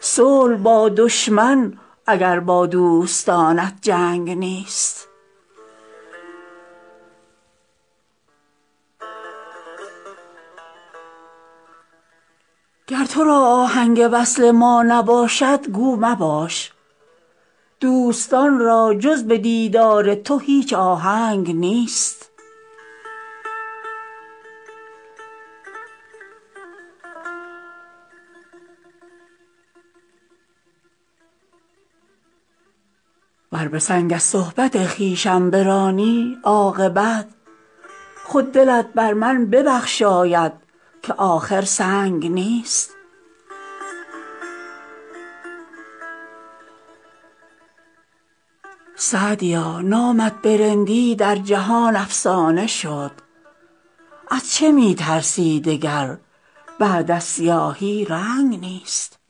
صلح با دشمن اگر با دوستانت جنگ نیست گر تو را آهنگ وصل ما نباشد گو مباش دوستان را جز به دیدار تو هیچ آهنگ نیست ور به سنگ از صحبت خویشم برانی عاقبت خود دلت بر من ببخشاید که آخر سنگ نیست سعدیا نامت به رندی در جهان افسانه شد از چه می ترسی دگر بعد از سیاهی رنگ نیست